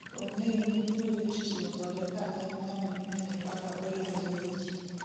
Ong'eyo ni biro yot tiyo kode ka en ng'ano mong'eyo kaka oriwore gi ji